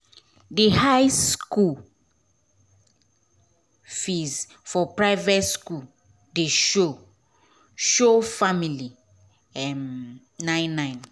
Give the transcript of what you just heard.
d high school um fees for private school dey show show family um nine nine